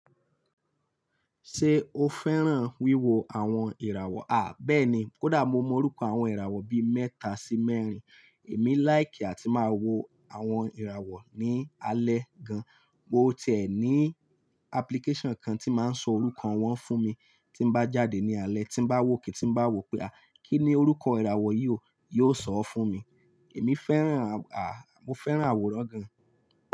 Ṣé o fẹ́ràn wíwo àwọn ìràwọ̀? Béèni kódà mo mò orúkọ àwọn ìràwọ̀ bí méta si mérin. Èmi like á tíì máa wo àwọn ìràwọ̀ ní alẹ́ gan. Mo ti ẹ́ ní application kan tí máa ń sọ orúkọ wọn fún mi. Tí n bá jáde ní alẹ́, tí bá wòke tí bá wò pé kí ni orúkọ ìràwọ̀ yìí o, yóò sọ ọ́ fún mi. Èmi fẹ́ràn, mo fẹ́ràn àwòrán gan.